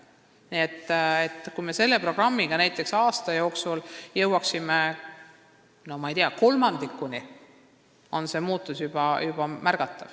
Nii et kui me jõuaksime uue programmiga näiteks aasta jooksul kolmandikuni, oleks muutus juba märgatav.